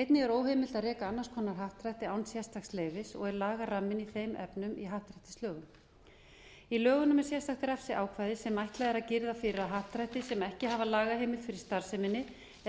einnig er óheimilt að reka annars konar happdrætti án sérstaks leyfi og er lagaramminn í þeim efnum í happdrættislögum í lögunum er sérstakt refsiákvæði sem ætlað er að girða fyrir að happdrætti sem ekki hafa lagaheimild fyrir starfseminni